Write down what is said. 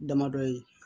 Damadɔ ye